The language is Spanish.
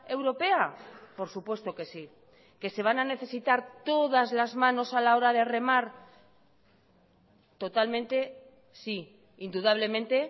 europea por supuesto que sí que se van a necesitar todas las manos a la hora de remar totalmente sí indudablemente